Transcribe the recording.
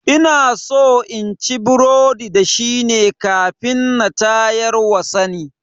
Inaso inci burodi da shine kafin na tayarwa sani